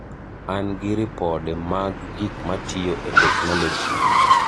An gi ripode mag gik matiyo e teknoloji.